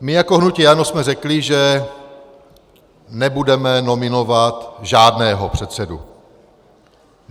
My jako hnutí ANO jsme řekli, že nebudeme nominovat žádného předsedu.